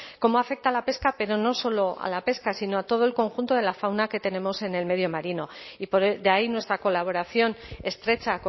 cómo afecta a la pesca pero no solo a la pesca sino a todo el conjunto de la fauna que tenemos en el medio marino y de ahí nuestra colaboración estrecha